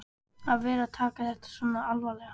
Að vera að taka þetta svona alvarlega.